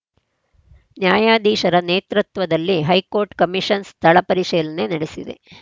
ನ್ಯಾಯಾಧೀಶರ ನೇತೃತ್ವದಲ್ಲಿ high court commission ಸ್ಥಳ ಪರಿಶೀಲನೆ ನಡೆಸಿದೆ